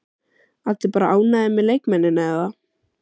Allir bara ánægðir með leikmennina eða?